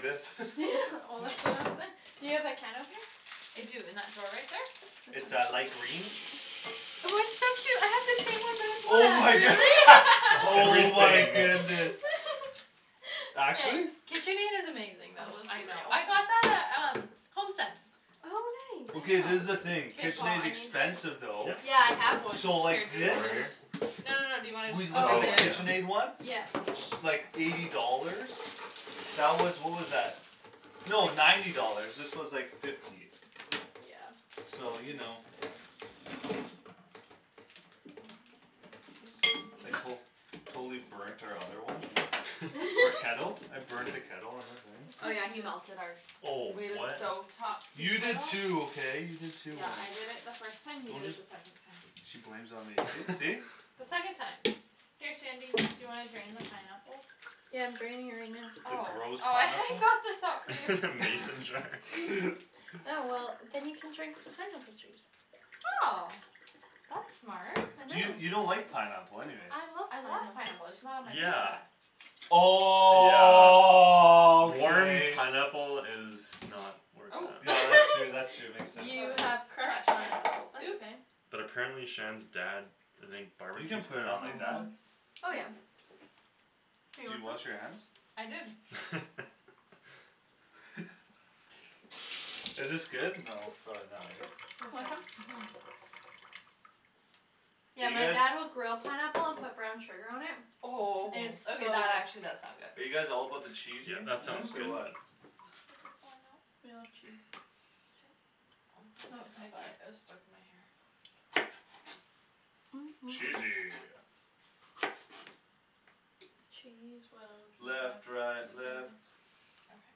this Well that's what Do you have a can opener? I do, in that drawer right there? It's a light green Oh it's so cute, I have the same one but Oh my a cat good- Really? Oh my Everything goodness Actually? KitchenAid is amazing though, Oh, let's I be know, real I got that at um, HomeSense Oh I Okay, nice this is the know thing, K Paul, KitchenAid's I need the expensive though Yeah Yeah I have one So Here, like do you this? Over wanna here? No no no, do you wanna We looked Oh at the Oh yeah yeah just KitchenAid one Yep S- like, eighty dollars That was, what was that? No, ninety dollars, this was like fifty Yeah So you know I col- Totally burnt our other one, eh? Our kettle? I burnt the kettle on the thing Oh Course yeah you he melted our do Oh We had a what stove top tea You did kettle too, okay? You did too Yeah on- I did it first time, you Don't did it just the second time She blames it on me, see see? The second time Here Shandy, do you wanna drain the pineapple? Yeah I'm draining it right now The Oh, gross oh I I pineapple? got this out for you Mason jar Yeah well, then you can drink the pineapple juice Oh That's smart I Do you, know you don't like pineapple anyways I love I love pineapple pineapple, I just not on my Yeah pizza Yeah Warm Okay pineapple is not where it's Oh Oh at Yeah that's true that's true, makes sense You have crushed pineapples That's oops okay But apparently Shan's dad, I think You barbecues can't put it on like pineapple? that Mhm Oh yeah Here you Did you want wash your hands? some? I did Is this good? No, probably not right? Want some? Mhm Do Yeah you my guys dad will grill pineapple and put brown sugar on it Oh, It's so okay that good actually does sound Are good you guys all about the Yeah that sounds cheesiness or good Mhm what This is falling off We love cheese Oh, I got it, it was stuck in my hair Mm mm mm Cheesy Cheese will keep us Left right left together Okay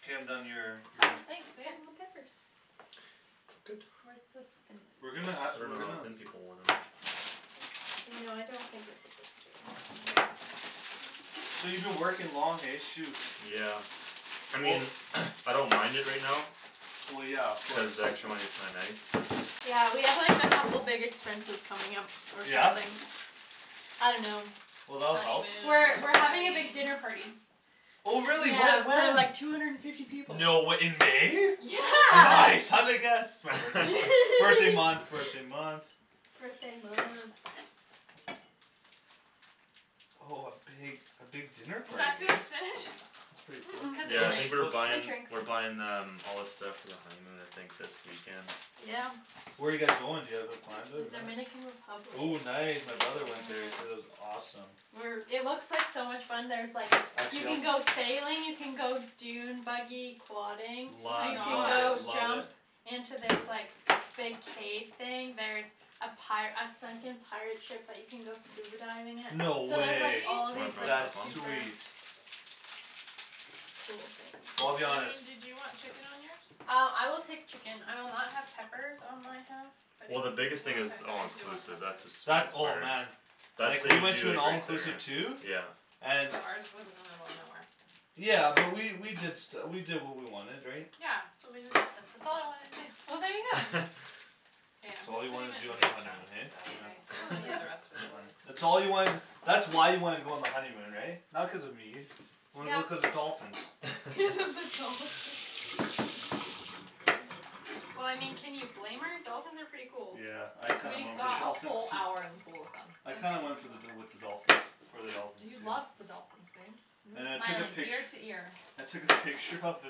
K I'm done your, Oh, your thanks babe, more peppers Good Where's the We're spinach? gonna ha- I we're dunno how gonna thin people want them You know I don't think it's a good deal So you been working long, hey? Shoot Yeah I Well mean I don't mind it right now Well yeah of Cuz course the extra money's kinda nice Yeah we have like a couple big expenses coming up, or Yeah? something I dunno Well that'll help We're Honeymoon, we're having a big wedding dinner party Oh really? Yeah Whe- for when? like two hundred and fifty people No way, in May? Yeah Nice, how'd I guess? It's my birthday month, birthday month birthday month Birthday month Oh a big, a big dinner Was party, that too eh? much spinach? That's pretty cool, Cuz it it Yeah will I sh- think it we're will shrinks shrink It buying, shrinks we're buying um all the stuff for the honeymoon I think this weekend Yeah Where you guys going, do you have it planned out? Dominican Republic Ooh nice, my brother went there, he said it was awesome We're it looks like so much fun, there's like, you Actually I'll can go sailing, you can go dune buggy quadding Oh my Lo- You can love it, go gosh love it jump into this like, big cave thing, there's a pi- a sunken pirate ship that you can go scuba diving at No So Really? there's like way all Wanna these draw like That's stuff on? super sweet Cool things Well I'll be honest Shandryn do you want chicken on yours? Uh, I will take chicken, I will not have peppers on my half But if Well the you biggest thing want it's Okay, it's all I peppers do want inclusive, that's the peppers That, sweetest oh part man That Like, we saves went to you an like right all-inclusive there too Yeah And But ours was in the middle of nowhere Yeah, but we, we did stu- we did what we wanted, right? Yeah, swimming with dolphins, that's all I wanted to do Well there you go K, That's I'm all just you putting wanted to it do in on your big honeymoon, chunks, is that eh? okay? I guess Oh we'll leave the yeah rest for the That's boys fine That's all you wanted, that's why you wanted to go on the honeymoon, right? Not cuz of me Wanted to go Yeah cuz of the dolphins Cuz of the dolphins Well I mean, can you blame her? Dolphins are pretty cool Yeah, I kinda We went for the got a dolphins whole too hour in the pool with I That's them kinda went for the dol- with the dolphins, for the dolphins, You too loved the dolphins, babe You were And I took a smiling pict- ear to ear I took a picture of the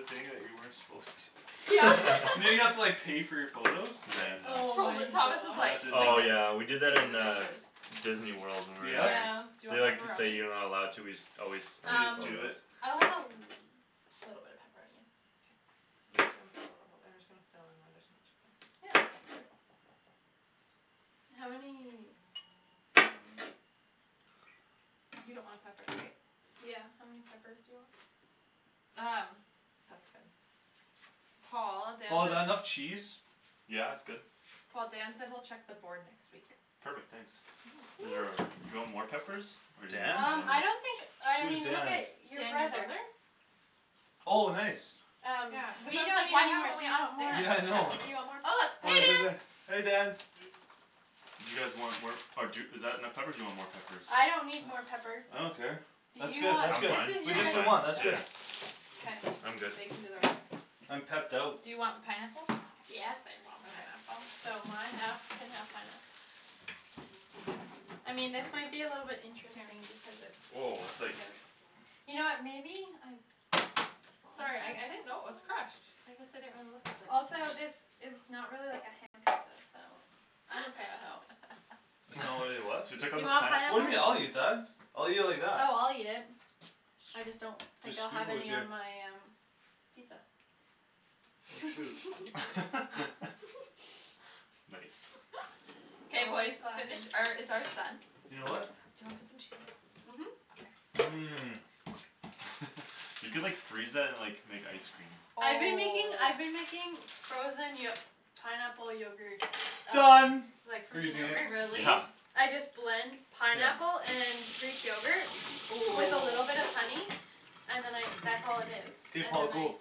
thing that you weren't supposed to Yeah You know you have to like pay for your photos? Nice Oh my Tot- Thomas was That gosh like, didn't like Oh happen this, yeah we did that taking in the uh pictures Disneyworld when we were Yeah? Yeah Do there you They want like say pepperoni? you're not allowed to, we just always snipe You just do Um it? photos I'll have a l- little bit of pepperoni, yeah K I'm just gonna put a little, I'm just gonna fill in where there's no chicken Yeah, that sounds good How many, um You don't want peppers, right? Yeah, how many peppers do you want Um, that's good Paul, Dan Paul is that enough said cheese? Yeah it's good Paul, Dan said he'll check the board next week Perfect, thanks Is there Woo a, do you want more peppers, or do you think Dan? it's Um, fine I here don't think, I Who's mean look Dan? at your Dan, your brother brother? Oh nice Yeah, Um, cuz we I was don't like need why any more, haven't do we you want asked more, do Yeah I Dan? know you want Oh more, look, hey Dan peppers Hey Dan Do you guys want more, or d- is that enough peppers do you want more peppers I don't need more peppers I don't care Do That's you good that's I'm want, good, this fine, is with you I'm just guys' the fine one, that's yeah good K, I'm good they can do their own I'm pepped out Do you want pineapple? Yes I want Okay pineapple So my half can have pineapple I mean this might be a little bit Here interesting because it's Whoa it's it's like kind of You know what, maybe, I Sorry, I I didn't know it was crushed I guess I didn't really look at the Also this is not really like a ham pizza, so It's not really a what? So you took out You the want pan What do you mean? I'll eat pineapple? that I'll eat it like that Oh I'll eat it I just don't think Just I'll scoop have it with any your on my um pizza Oh shoot Nice Nice K boys, Always finish, classy or is ours done? Your what? Do you wanna put some cheese on top? Mhm Okay Mm You could like freeze that and like, make ice cream I've been making I've been Oh making frozen yo- pineapple yogurt Done from Like like frozen frozen yogurt. yogurt Really? Yeah I just blend Yeah pineapple and greek yogurt Oh with a little bit of honey And then I that's all it is K Paul, go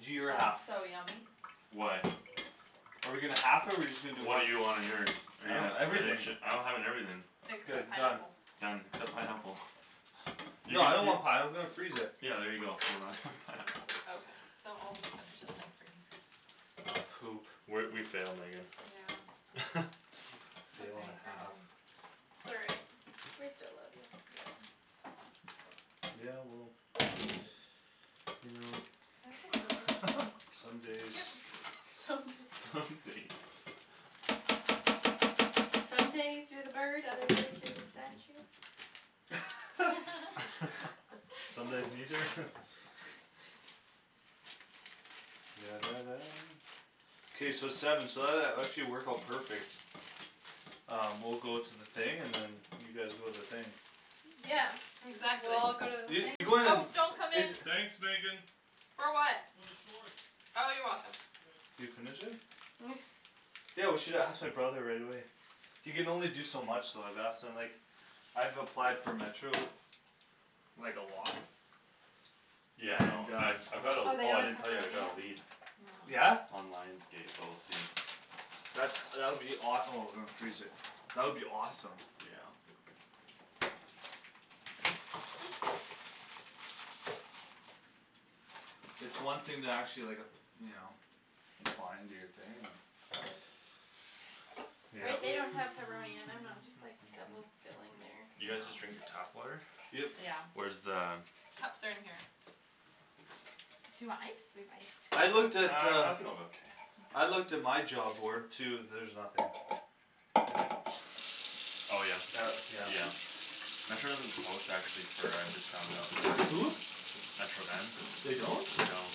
Do your half That's so yummy Why? Are we gonna half it or we just gonna do What one? do you want on yours? Are you I have gonna everything spinach it, I'm having everything Like The done pineapple Done, except pineapple You Yeah I can, don't you want pineapple, let's freeze it Yeah there you go, so we're not having pineapple Okay, so I'll just finish it then, for you guys We're, we failed Megan Yeah It's Fail and okay, a here half man Sorry We still love you Yeah, somewhat Yeah well, you know Can I have the scissors? Some days Yep Some Some days days Some days you're the bird, other days you're the statue Some What? days neither? K so seven so that that actually worked out perfect Uh, we'll go to the thing, and then you guys go to the thing Yeah We Exactly all go to the Yeah you things go to Oh, don't come the, is in uh- For what? Oh you're welcome Can you finish it? Mm Yeah, we should have asked my brother right away He can only do so much though, I've asked him like, I've applied for Metro, like a lot Yeah I know, And uh I've I've got a, Oh they oh I don't didn't have tell you, I pepperoni got a yet? lead No Yeah? On Lions Gate, but we'll see That's, that would be awe- oh that would be awesome Yeah It's one thing to actually like ap- you know, apply and do your thing, uh They Yep they don't have pepperoni and I'm not just like double filling their You y'know guys just drinking tap water? Yep Yeah Where's the Cups are in here Do Thanks you want ice? We have ice Uh, I looked at uh, I think I'm okay I looked at my job board too, there's nothing Oh yeah? Uh, yeah Yeah Metro doesn't post actually for, I just found out Hm? Metro Van? They don't? No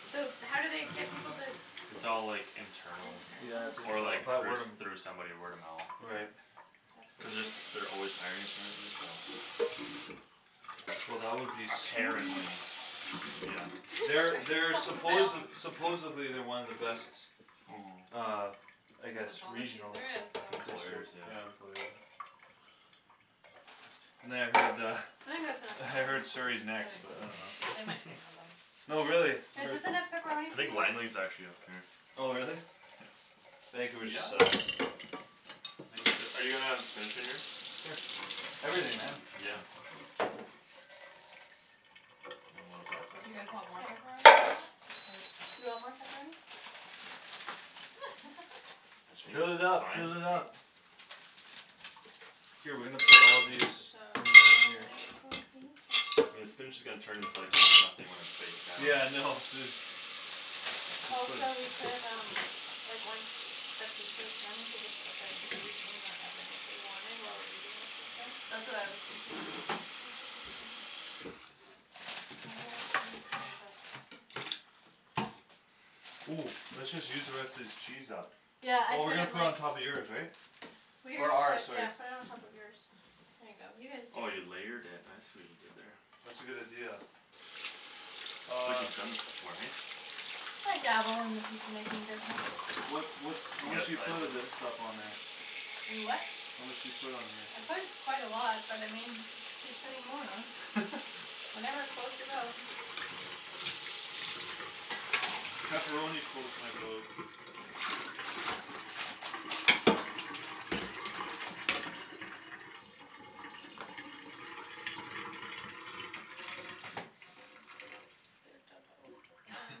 So how do they get people to It's all like, internal Yeah, Internal? it's Or internal, or like by through word of s- through somebody word of mo- mouth Right That's Cuz they're brutal s- they're always hiring apparently, so Well that would be Mm sweet Apparently Yeah They're they're That was a supposed, fail supposedly they're one of the best, Mhm uh I And guess that's all the cheese regional there is, so Employers, yeah yeah, employer And then I heard uh, I think that's enough I pepperoni heard Surrey's I next think but so too, um they might say no though No really, but Is this enough pepperoni I for you think boys? Langley's actually up there Oh really? Yeah Vancouver sucks Are you gonna have spinach on yours? Sure, everything, man Yeah You want more on that Do you guys side? want more pepperoni on Yep that, or? I think Fill it that's up, fine fill it up K we're I'm gonna put all of these so in here excited for pizza I mean the spinach is gonna turn into almost nothing when it's baked down Yeah I know, Also we could um Like once the pizza's done we could just put the cookies in the oven if we wanted, while we're eating the pizza That's what I was thinking Think this is done My whole gonna be Mm, let's just use the rest of this cheese up Yeah, I Well we're put gonna it put it on on top of yours, right Or Yeah, ours, sorry yeah put it on top of yours There you go, you guys Oh do you it layered it, I see what you did there That's a good idea It's like Uh you've done this before, eh? I dabble in the pizza making business What what You how much got do you side put of this business? stuff on there? You what? How much do you put on here? I put quite a lot, but I mean y- just keep putting more on Whatever floats your boat Pepperoni floats my boat I'm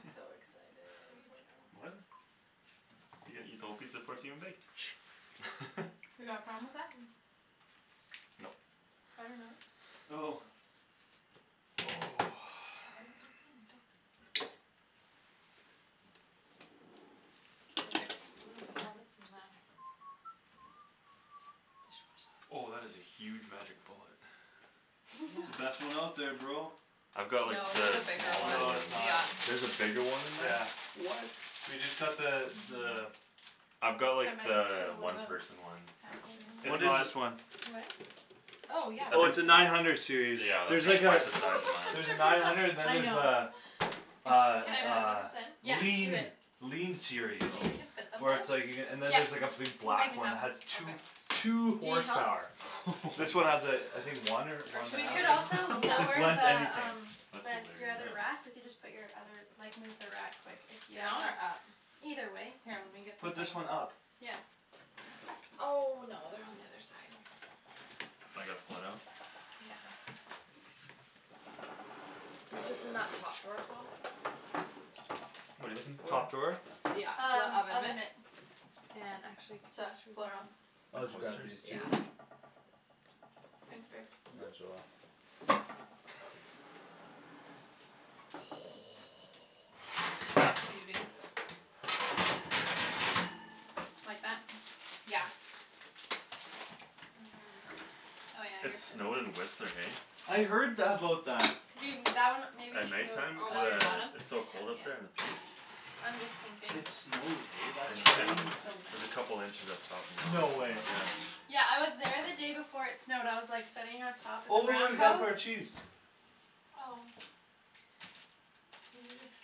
so Me excited for too What? pizza You gonna eat the whole pizza before it's even baked You got a problem with that? No Oh Okay, I'm gonna put all this in the Oh that dishwasher is a huge magic bullet It's the best Yeah one out there, bro I've got like No, there's a the bigger one, smaller No it's one not yeah There's a bigger one than Yeah that? What? We just got the, the I've got like Yeah the one one of those person one It's What is not this one? Oh Oh yeah, yeah I Oh it's think please a do nine hundred series, Yeah that's there's Oh my like like a twice the size of gosh, mine look at There's a their nine pizza hundred and then I there's a, know a, It's Can like I a that put? Yeah, do lean it lean series Do you think we can fit Oh them Where both? it's like you c- and then there's like a Yeah, big we'll make black it one that has happen two, Okay two Do you need help? horsepower This one What has a, I think one or one Or and a should We we do half could also like, maybe, it j- layer blends the the anything um, That's the s- the hilarious other wrap, we Yeah can just put your other, like move the wrap quick if you Down or up? Either way Here, let me get the Put things this one up Yeah Oh no, they're on the other side Now I gotta pull it out? Yeah It's just in that top drawer, Paul What're you looking for? Top drawer? Yeah, the Um, oven oven mitts mitts And actually The These coasters? Yeah two Thanks babe Might as well Mhm Need a big Like that? Yeah Oh yeah I It guess it's snowed in Whistler, eh I heard th- about that You that one maybe At should night go time, Oh, cuz on the uh, bottom? underneath it's so cold up there Yeah at the peak? I'm just thinking It snowed, eh? That's This Yeah crazy place is so There's a messy. couple inches up top now, No way yeah Yeah I was there the day before it snowed, I was like sitting on top of the Oh Roundhouse? our cheese Oh Couldn't you just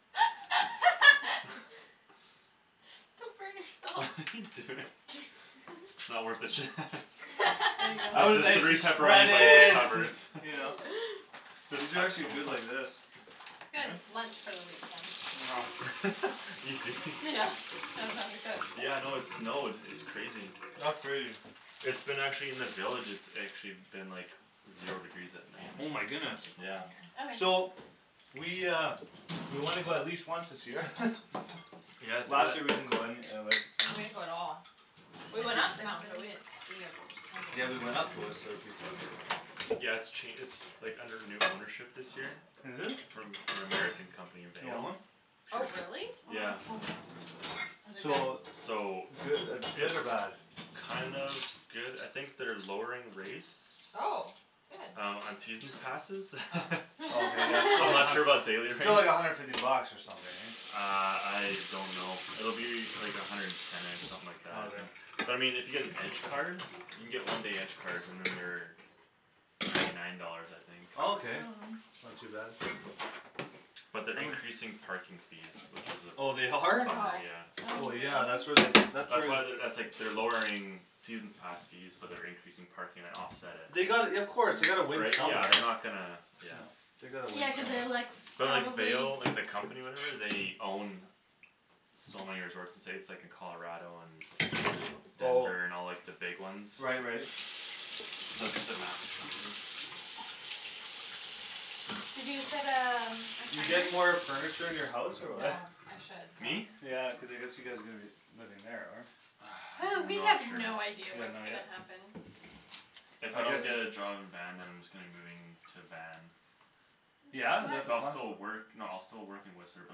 Come burn What yourself are you doing? It's not worth it Shan There you The I would go the nicely three spread pepperoni bites it it, and covers you know But Just these are actually good like this Good, lunch for the week then Know Easy Yeah, I don't have to cook Yeah no it snowed, it's crazy That's crazy It's been actually in the villages it's actually been like Zero degrees at K, night I'm Oh just my gonna throw goodness all these Yeah all over Okay here So We uh, we wanna go at least once this year Yeah do Last it year we didn't go any uh, like We didn't go at all We That's went up the mountain but we expensive didn't ski or Yeah we went snowboard up to Whistler a few times Yeah it's ch- it's like, under new ownership this year Is it? From an American company, You want Vail? one? Oh really? Oh Yeah it's so good Is it good? So So Goo- good It's or bad? kind of good, I think they're lowering rates Oh, good Um, on seasons passes Oh Oh okay yeah, so I'm th- not sure about daily rates still like a hundred fifty bucks or something eh Uh, I don't know, it'll be like a hundred and ten-ish, something like that Okay But I mean if you get an edge card? You can get one day edge cards and then they're Ninety nine dollars I think Oh Okay, not too bad But they're I'm a increasing parking fees, which is Oh they a are? bummer, Oh yeah Oh Oh yeah, really? that's where they, that's where That's why they're, that's like they're lowering seasons pass fees, but they're increasing parking to offset it They gotta y- of course, they gotta win Right, yeah somewhere they're not gonna, yeah No They gotta win Yeah cuz they're like, some But like probably Vail, like the company or whatever they own So many resorts in the States, like in Colarado and Oh Denver and all like the big ones Right right So it's just a massive company You said um, You get more furniture in your house or No, what I should Me? though Yeah, cuz I guess you guys are gonna be living there, or? Hey, we Not have sure no idea You don't what's know gonna yet? happen If If I I guess don't get a job in Van then I'm just gonna be moving to Van Yeah? Is that the But I'll plan? still work, no I'll still work in Whistler but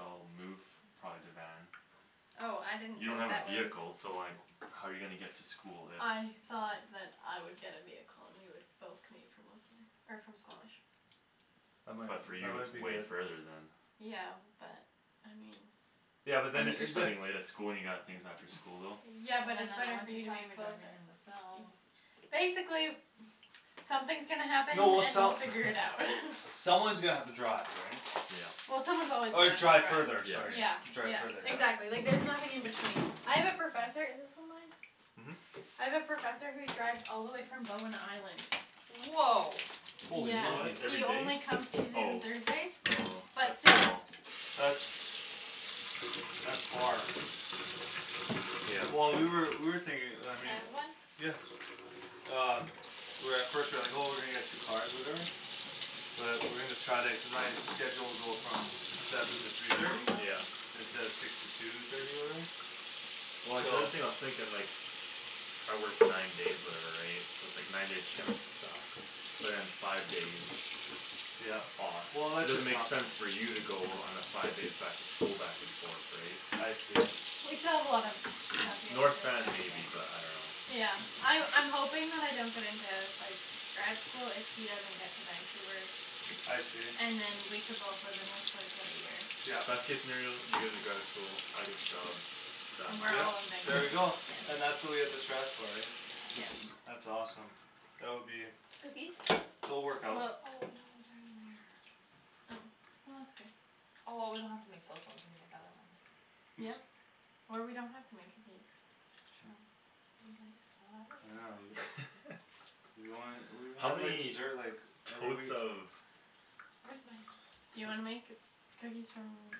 I'll move probably to Van Oh, I didn't You don't think have a that was vehicle, so like how you gonna get to school if I thought that I would get a vehicle and we could both commute from Whistler, or from Squamish That might, But for that you it's might be way good further then Yeah, but, I mean Yeah but And then, if you're it- the studying late at school and you got things after school, though Yeah And then but in it's the better for winter you to be time you're closer driving in the snow Basically something's gonna happen No well and we'll some- figure it out Someone's gonna have to drive, right Yeah Yeah someone's always gonna Or have to drive further, drive sorry Yeah, Yeah Drive yeah further, exactly, like yeah there's nothing in between I have a professor, is this one mine? Mhm I have a professor who drives all the way from Bowen Island Whoa Yeah, Holy What, monkey he every only day? comes Tuesdays and Oh Thursdays, Oh, but but still still That's That's far Yeah Well we were, we were Can thinking I I mean have one? Um We were at first, we were like oh we're gonna get two cars or whatever But we're gonna try to, cuz my schedule will go from seven to three thirty Yeah Instead of six to two thirty or whatever Well like the So only thing I was thinking like I work nine days or whatever right, so it's like nine days are gonna suck But then five days Yeah off Well It that's doesn't just make how sense for you to go on a five days back to school back and forth right I see We still have a lot of stuff we have North Van maybe but I dunno Yeah, I- I'm hoping that I don't get into like, grad school if he doesn't get to Vancouver I see And then we can both live in Whistler for the year Yeah Best case scenario, you get into grad school, I get the job Then Done we're Yeah, all in Vanco- there we go yeah And that's what we have to strive for, right Yeah That's awesome That would be Cookies? It'll work Well Oh no out they're in there Oh, well that's good Oh well we don't have to make those ones, we can make the other ones Yep, or we don't have to make cookies True Be nice I Oh I will dunno, you You don't wanna, we, How how do I many desert like totes of Where's my Do you wanna make cookies from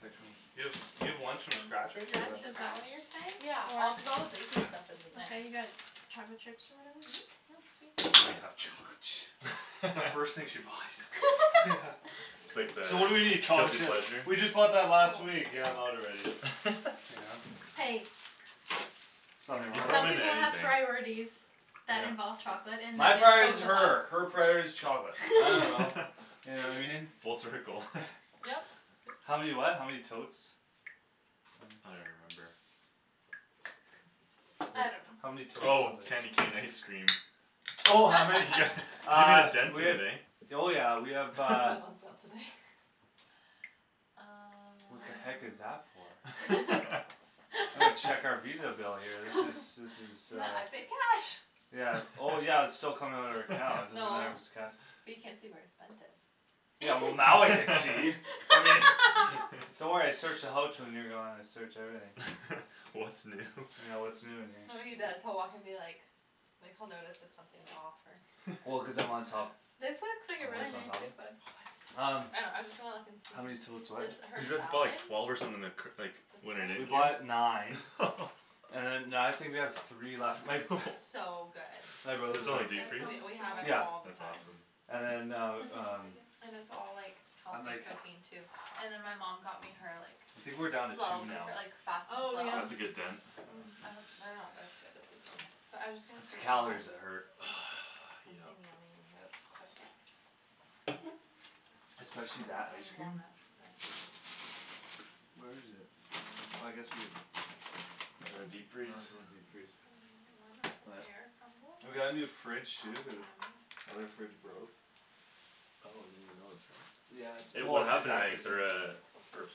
Like from, you have, you have From ones scratch, from scratch right here or what is that what you're Scratch? Yeah, all cuz all the saying? Or baking stuff You is in there got chocolate chips or whatever? That's the first thing she buys Yeah It's like the So what do we need? Chocolate guilty chips pleasure? We just bought that last Oh week, yeah I'm out already Yeah Hey There's nothing They throw wrong Some with them in people have anything priorities that involve Yeah chocolate and when My priority's it's both of her, her us priority's chocolate, I dunno You know I mean? Full circle Yep How many what? How many totes I don't Mm even remember I How many don't know totes Oh, candy something cane ice cream Oh how many Yeah, you made Uh, a dent we in have it eh Oh yeah we have That uh was on sale today Uh What the heck is that for? I'm gonna check our Visa bill here, this is this is uh N- I paid cash Yeah, oh yeah but it's still coming out of our account, doesn't No matter if it's cash But you can't see where I spent it Yeah well now I can see I mean Don't worry I search the houch when you're gone, I search everything What's new Yeah what's new in here No what he does, he'll walk in be like, like he'll notice if something's off or Well cuz I'm on top This looks like a I'm really always on nice top cookbook Um I know, I was just gonna look and see, How many totes what this Cuz her you guys bought salad like twelve or something like c- like This We bought one? nine And then now I think we have three left, my b- It's so good My Put brother's some in like deep That And freeze? we sounds so we have it good Yeah all the That's time awesome And then That uh, sounds really um good And it's all like And healthy like cooking too And then my mom got me her like, I think we're down to two slow now cooker, like fast and Oh yum slow? That's a good I know dent Mm, I don't, they're not as good as these ones, but I'm just gonna It's see if the she calories has that hurt Yep Something yummy in here that's quick Hmm Especially that don't ice have cream walnuts, but Where is it? Oh I guess we have In the Oh it's deep freeze? in the deep freeze Banana warm up pear We got a new crumble? fridge That'd too, cuz be o- yummy Other fridge broke Oh I didn't even notice that Yeah it's, well What it's happened to exactly it, the same uh, the Poached